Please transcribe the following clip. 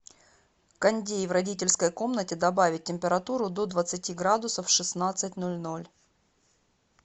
кондей в родительской комнате добавить температуру до двадцати градусов в шестнадцать ноль ноль